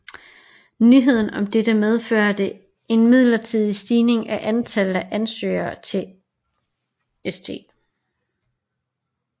Nyheden om dette medførte en midlertidig stigning i antallet af ansøgninger til St